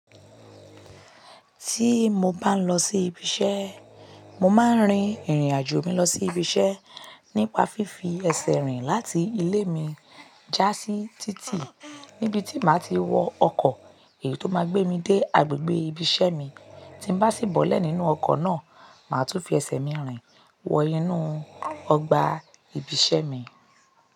Tí mo bá ń lọ sí ibi iṣẹ́, mo máa ń rin ìrìnàjò mi lọ sí ibi iṣẹ́ nípa fífi ẹsẹ̀ rìn láti ilé mi já sí títì níbi tí màá ti wọ ọkọ̀ èyí tó máa gbé mi dé agbègbè ibi iṣẹ́ mi, tí n bá sì bọ́lẹ̀ nínú ọkọ̀ náà, màá tún fi ẹsẹ̀ mi rìn wọ inú ọgbà ibi iṣẹ́ mi.